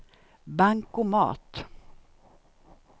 bankomat